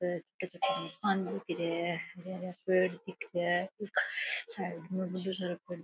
हरा हरा पेड़ दिख रा है --